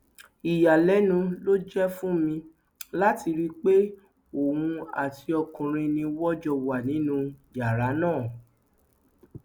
ìyàlẹnu ló jẹ fún mi láti rí i pé òun àti ọkùnrin ni wọn jọ wà nínú yàrá náà